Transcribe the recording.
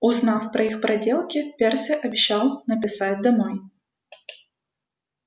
узнав про их проделки перси обещал написать домой